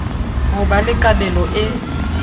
ho ba le kabelo e